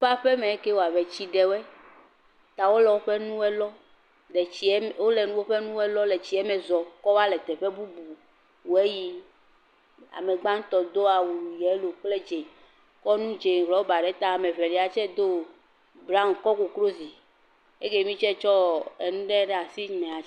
… ƒemea wɔ eke wo agbɔ tsi ɖe woe ta wole woƒe nuwo lɔm. Le tsia me, wole woƒe nuwo lɔm le tsiame zɔ̃m kɔva le teƒe bubu woe yim. Ame gbatã do awu, yelo kple dzɛ̃, kɔ nu dzɛ̃ rɔba ɖe ta. Ame evelia tsɛ do broan kɔ koklozi. Eke mi tsɛ tsɔ nu ɖe ɖe asi. Nyemenya …